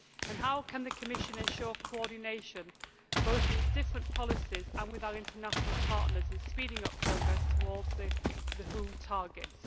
And how can the Commission ensure coordination, both in its different policies and with our international partners, in speeding up progress towards the WHO targets?